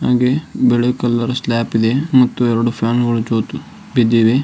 ಹಂಗೆ ಬಿಳಿ colour slab ಇದೆ ಮತ್ತು ಎರಡು ಫ್ಯಾನ್ ಬಿದ್ದಿವೆ.